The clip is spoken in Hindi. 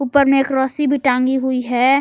ऊपर में एक रस्सी भी टांगी हुई है।